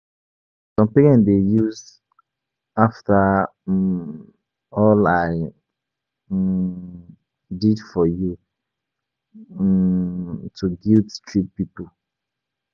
Some parents dey use "after um all I um did for you" um to guilt-trip pipo.